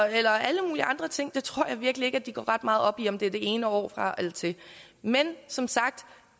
eller alle mulige andre ting jeg tror virkelig ikke at de går ret meget op i om de får det ene år fra eller til men som sagt